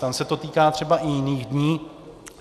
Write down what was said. Tam se to týká třeba i jiných dní.